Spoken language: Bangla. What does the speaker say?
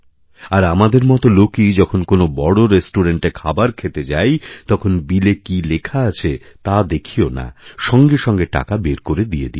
আর আমাদের মত লোকই যখন কোনো বড় রেস্টুরেণ্টে খাবার খেতে যাই তখন বিলে কী লেখা আছেতা দেখিও না সঙ্গে সঙ্গে টাকা বের করে দিয়ে দিই